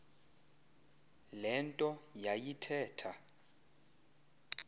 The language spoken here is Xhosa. le nto yayithetha